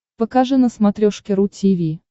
покажи на смотрешке ру ти ви